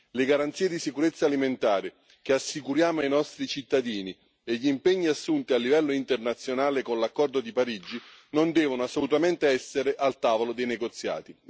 Le garanzie di sicurezza alimentare che assicuriamo ai nostri cittadini e gli impegni assunti a livello internazionale con l'accordo di Parigi non devono assolutamente essere al tavolo dei negoziati.